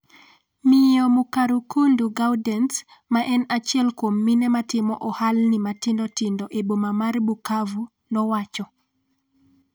miyo Mukarukundo Gaudance ma en achiel kuom mine matimo ohalni matindo tindo e boma mar Bukavu nowacho